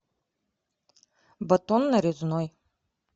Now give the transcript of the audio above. батон нарезной